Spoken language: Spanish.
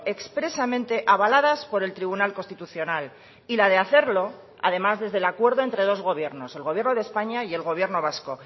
expresamente avaladas por el tribunal constitucional y la de hacerlo además desde el acuerdo entre dos gobiernos el gobierno de españa y el gobierno vasco